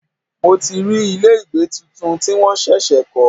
Mo ti rí ilé ìgbẹ́ tuntun tí wọ́n ṣẹ̀ṣẹ̀ kọ́.